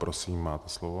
Prosím, máte slovo.